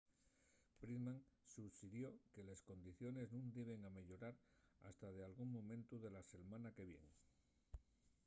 pittman suxirió que les condiciones nun diben ameyorar hasta dalgún momentu de la selmana que vien